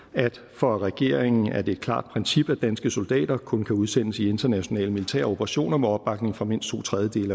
for regeringen er det et klart princip at danske soldater kun kan udsendes i internationale militære operationer med opbakning fra mindst to tredjedele